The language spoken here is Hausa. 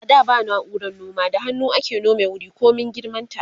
a da ba nauran noma da hannu ake nome wuri komin girman ta